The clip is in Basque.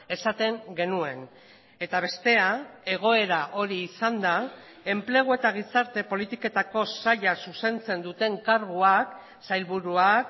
esaten genuen eta bestea egoera hori izanda enplegu eta gizarte politiketako saila zuzentzen duten karguak sailburuak